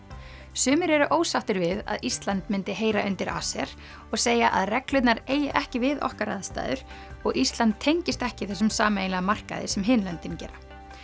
sumir eru ósáttir við að Ísland myndi heyra undir ACER og segja að reglurnar eigi ekki við okkar aðstæður og Ísland tengist ekki þessum sameiginlega markaði sem hin löndin gera